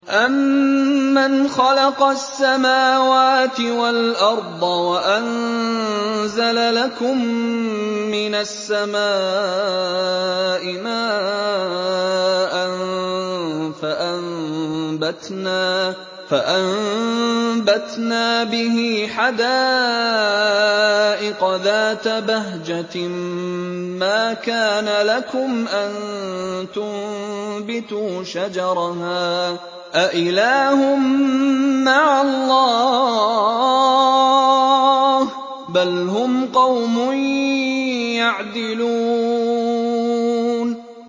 أَمَّنْ خَلَقَ السَّمَاوَاتِ وَالْأَرْضَ وَأَنزَلَ لَكُم مِّنَ السَّمَاءِ مَاءً فَأَنبَتْنَا بِهِ حَدَائِقَ ذَاتَ بَهْجَةٍ مَّا كَانَ لَكُمْ أَن تُنبِتُوا شَجَرَهَا ۗ أَإِلَٰهٌ مَّعَ اللَّهِ ۚ بَلْ هُمْ قَوْمٌ يَعْدِلُونَ